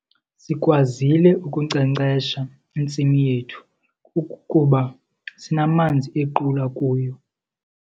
Sikwazile ukunkcenkcesha intsimi yethu kuba sinamanzi equla kuyo.